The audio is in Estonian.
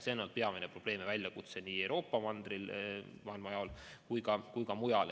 See on peamine probleem ja väljakutse nii Euroopas kui ka mujal.